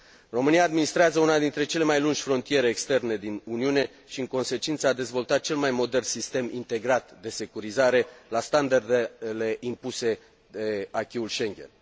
România administrează una dintre cele mai lungi frontiere externe din Uniune și, în consecință, a dezvoltat cel mai modern sistem integrat de securizare la standardele impuse de acquis ul Schengen.